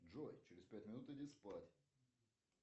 джой через пять минут иди спать